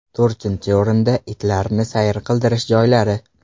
To‘rtinchi o‘rinda itlarni sayr qildirish joylari.